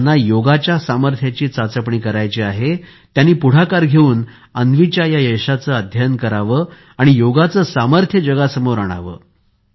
ज्यांना योगच्या सामर्थ्याची चाचपणी करायची आहे त्यांनी पुढाकार घेऊन अन्वीच्या या यशाचे अध्ययन करावे आणि योगचे सामर्थ्य जगासमोर आणावे